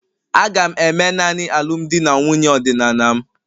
Aga'm eme naanị alụmdi na nwunye ọdịnala m